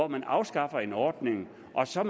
man afskaffer en ordning og så